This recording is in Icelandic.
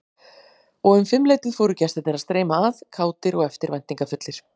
Og um fimmleytið fóru gestirnir að streyma að, kátir og eftirvæntingarfullir.